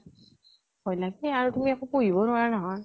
ভয় লাগে। আৰু তুমি একো কৰিবও নোৱাৰা নহয়।